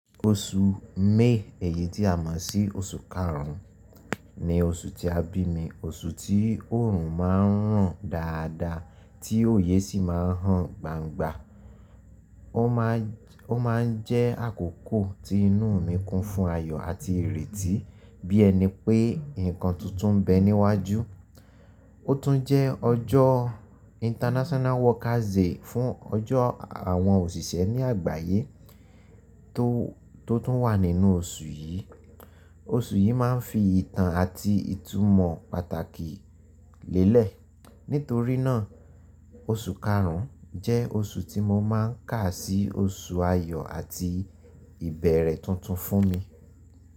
Oṣù May, èyí tí a mọ̀ sí oṣù karùn-ún, ni oṣù tí a bí mi. Oṣù tí òòrùn máa ń ràn dáadáa tí òye sì máa ń hàn gbangba. Ó máa ń jẹ́ àkókò tí inú mi kún fún ayọ̀ àti ìrètí, bí ẹni pé nǹkan tuntun ń bẹ níwájú. Ó tún jẹ́ ọjọ́ International Workers' Day fún ọjọ́ àwọn òṣìṣẹ́ ní àgbáyé tó tún wà nínú oṣù yìí. Oṣù yìí máa ń fi ìtàn àti ìtumọ̀ pàtàkì lélẹ̀. Nítorí náà, oṣù karùn-ún jẹ́ oṣù tí mo máa ń kà sí oṣù ayọ̀ àti ìbẹ̀rẹ̀ tuntun fún mi.